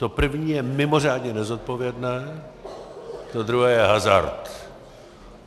To první je mimořádně nezodpovědné, to druhé je hazard.